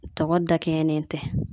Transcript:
Tɔgɔ da kɛɲɛlen tɛ.